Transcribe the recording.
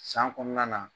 San kɔnɔna na